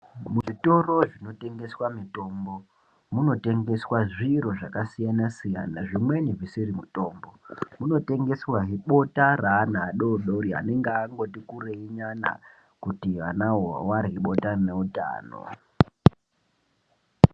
Zvitoro zvinotengeswa mitombo munotengeswa zviro zvakasiyana-siyana zvimweni zvisiri mutombo. Munotengeswahe bota reana adoodori anenge angoti kurei nyana kuti vanavo varye bota rine utano.